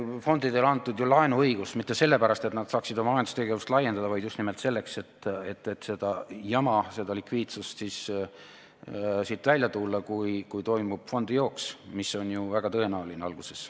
Fondidele on antud ju laenuõigus mitte sellepärast, et nad saaksid oma majandustegevust laiendada, vaid just nimelt sellest likviidsusjamast välja tulla, kui toimub fondijooks, mis on ju alguses väga tõenäoline.